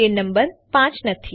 તે નંબર 5 નથી